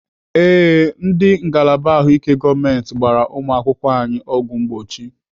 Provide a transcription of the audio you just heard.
Ee, ndị ngalaba ahụike gọọmenti gbara ụmụakwụkwọ anyị ọgwụ mgbochi.